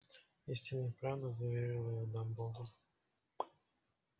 истинная правда заверил её дамблдор